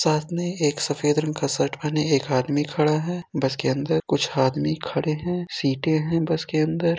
साथ में एक सफेद रंग का शर्ट पहने एक आदमी खड़ा है। बस के अंदर कुछ आदमी खड़े हैं। सीटे हैं बस के अंदर।